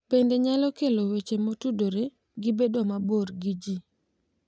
Bende nyalo kelo weche motudore gi bedo mabor gi ji